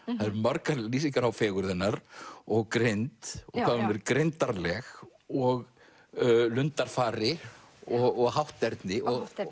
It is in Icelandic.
það eru margar lýsingar á fegurð hennar og greind hvað hún er greindarleg og og hátterni